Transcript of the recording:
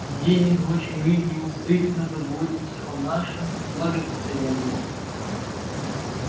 день и ночь мы неусыпно заботимся о нашем благосостоянии